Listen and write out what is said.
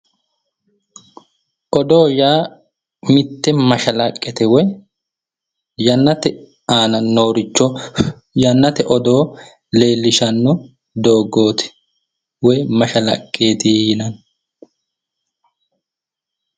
Odoo yaa mitte mashalaqqete woy yannate aana nooricho yannate odoo leellishshanno dogooti woy mashalaqqeti yinanni